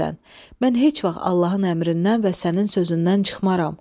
Mən heç vaxt Allahın əmrindən və sənin sözündən çıxmaram.